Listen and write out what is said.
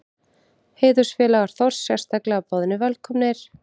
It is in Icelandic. Heiðursfélagar Þórs sérstaklega boðnir velkomnir.